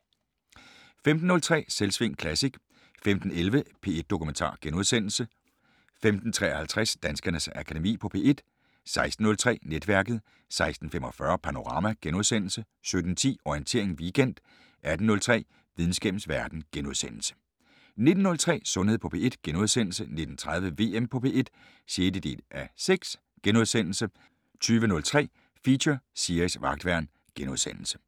15:03: Selvsving Classic 15:11: P1 Dokumentar * 15:53: Danskernes Akademi på P1 16:03: Netværket 16:45: Panorama * 17:10: Orientering Weekend 18:03: Videnskabens Verden * 19:03: Sundhed på P1 * 19:30: VM på P1 (6:6)* 20:03: Feature: Siris Vagtværn *